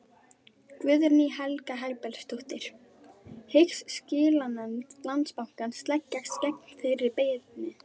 Guðný Helga Herbertsdóttir: Hyggst skilanefnd Landsbankans leggjast gegn þeirri beiðni?